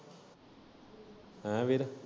ਹੈ ਵੀਰ।